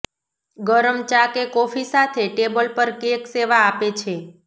ગરમ ચા કે કોફી સાથે ટેબલ પર કેક સેવા આપે છે